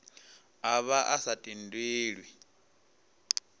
a vha a sa tendelwi